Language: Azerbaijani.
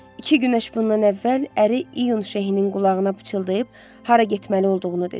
İki günəş bundan əvvəl əri iyun şəhinin qulağına pıçıldayıb hara getməli olduğunu dedi.